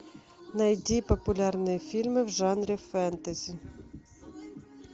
найди популярные фильмы в жанре фэнтези